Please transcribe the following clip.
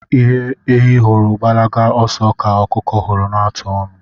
Ihe ehi hụrụ gbalaba oso ka okuku huru na-atụ onu